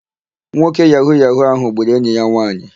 Nwoke yahu-yahu áhụ̀ gburu enyi ya nwaanyị.